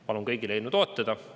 Palun kõigil seda eelnõu toetada!